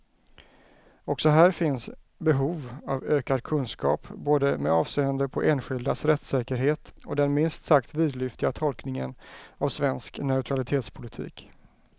Också här finns behov av ökad kunskap, både med avseende på enskildas rättssäkerhet och den minst sagt vidlyftiga tolkningen av svensk neutralitetspolitik.